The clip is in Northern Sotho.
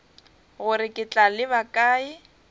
gore ke tla leba kae